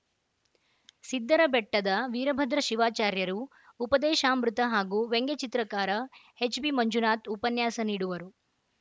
ಸಿದ್ದರಬೆಟ್ಟದ ವೀರಭದ್ರ ಶಿವಾಚಾರ್ಯರು ಉಪದೇಶಾಮೃತ ಹಾಗೂ ವ್ಯಂಗ್ಯ ಚಿತ್ರಕಾರ ಎಚ್‌ಬಿಮಂಜುನಾಥ ಉಪನ್ಯಾಸ ನೀಡುವರು